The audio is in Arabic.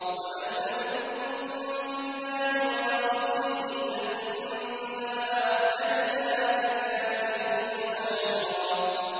وَمَن لَّمْ يُؤْمِن بِاللَّهِ وَرَسُولِهِ فَإِنَّا أَعْتَدْنَا لِلْكَافِرِينَ سَعِيرًا